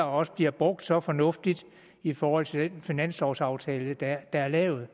også bliver brugt så fornuftigt i forhold til den finanslovaftale der er lavet